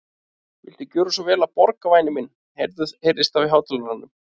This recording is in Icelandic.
Viltu gjöra svo vel að borga, væni minn heyrðist þá í hátalaranum.